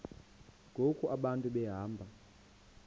ngoku abantu behamba